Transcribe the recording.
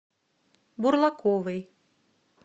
бурлаковой